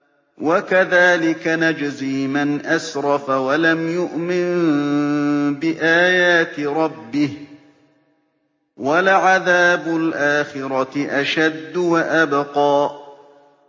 وَكَذَٰلِكَ نَجْزِي مَنْ أَسْرَفَ وَلَمْ يُؤْمِن بِآيَاتِ رَبِّهِ ۚ وَلَعَذَابُ الْآخِرَةِ أَشَدُّ وَأَبْقَىٰ